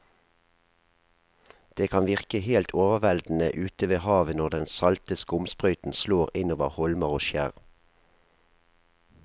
Det kan virke helt overveldende ute ved havet når den salte skumsprøyten slår innover holmer og skjær.